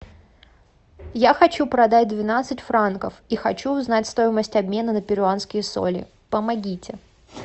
я хочу продать двенадцать франков и хочу узнать стоимость обмена на перуанские соли помогите